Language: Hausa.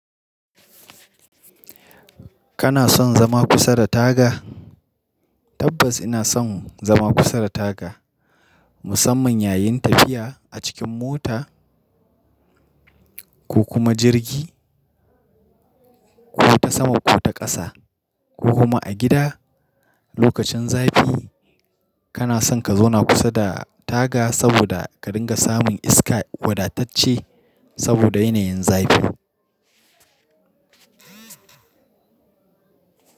Kana son zama kusa da taga? Tabbas ina son zama kusa da taka, musamman yayin tafiya a cikin mota ko kuma jirgi, ko ta sama ko ta ƙasa, ko kuma a gida. Lokacin zafi kana son ka zauna kusa da taga saboda ka dinga samun iska wadatacciya saboda yanayin zafi.